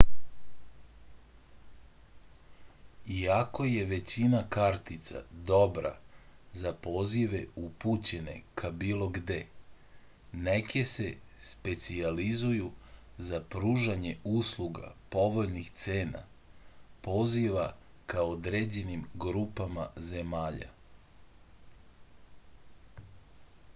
iako je većina kartica dobra za pozive upućene ka bilo gde neke se specijalizuju za pružanje usluga povoljnih cena poziva ka određenim grupama zemalja